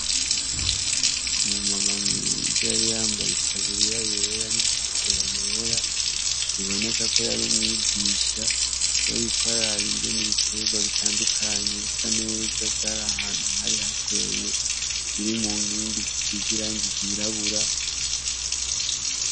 umu mama mwiza yari yambaye taburiya yera n'inkofero yera biboneka ko yari umwigisha yariko araraba ingene ibitegwa bitandukanye bisa neza vyari ahantu hari hateye biri mu nkingi zisize irangi ryirabura